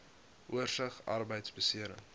oorsig arbeidbeserings